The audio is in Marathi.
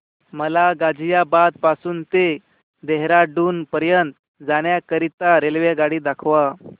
मला गाझियाबाद पासून ते देहराडून पर्यंत जाण्या करीता रेल्वेगाडी दाखवा